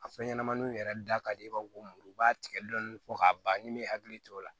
A fɛn ɲɛnɛmaniw yɛrɛ da ka di i b'a fɔ ko muru u b'a tigɛ dɔɔni fo k'a ban ni me hakili to o la